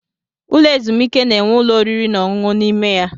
Ụlọ ezumike na-enwe ụlọ oriri na ọṅụṅụ n'ime ya.